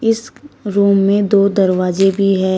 इस रूम में दो दरवाजे भी हैं।